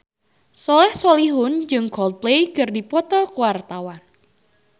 Soleh Solihun jeung Coldplay keur dipoto ku wartawan